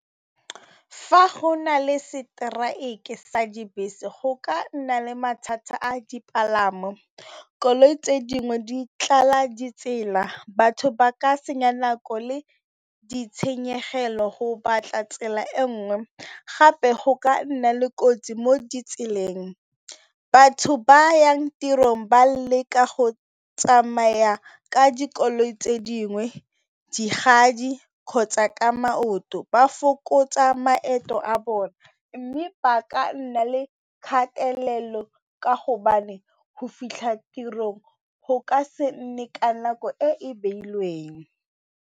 Fa go na le seteraeke sa dibese go ka nna le mathata a dipalamo, koloi tse dingwe di tlala ditsela, batho ba ka senya nako le ditshenyegelo go batla tsela e nngwe gape go ka nna le kotsi mo ditseleng. Batho ba yang tirong ba leka go tsamaya ka dikoloi tse dingwe kgotsa ka maoto, ba fokotsa maeto a bone mme ba ka nna le kgatelelo ka hobane go fitlha tirong go ka se nne ka nako e e beilweng.